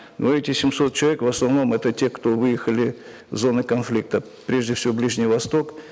но эти семьсот человек в основном это те кто выехали в зоны конфликта прежде всего ближний восток